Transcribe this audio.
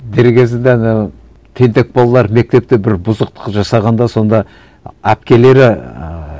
дер кезінде ана тентек балалар мектепте бір бұзықтық жасағанда сонда әпкелері ііі